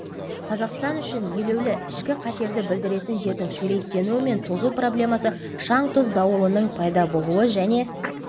қазақстан үшін елеулі ішкі қатерді білдіретін жердің шөлейттенуі мен тозу проблемасы шаң-тұз дауылының пайда болуы және